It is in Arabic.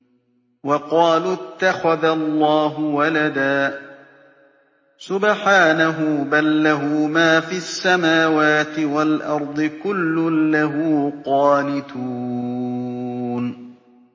وَقَالُوا اتَّخَذَ اللَّهُ وَلَدًا ۗ سُبْحَانَهُ ۖ بَل لَّهُ مَا فِي السَّمَاوَاتِ وَالْأَرْضِ ۖ كُلٌّ لَّهُ قَانِتُونَ